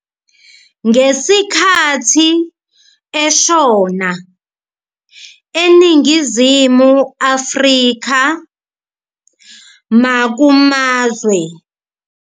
Ngesikhathi eshona, eNingizimu Afrika nakumazwe angaphandle, uMandela wase ethathwa njengobaba wesizwe, kanye nobaba owasungula inqubo yedimokhrasi, nokubonwa njengomkhululi wesizwe, umsindinsi, efaniswa nalowo wase-Washington kanye no-Lincoln konke lokhu kubhanqwe ndawonye".